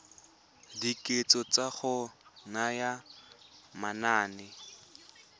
dikatso tsa go naya manane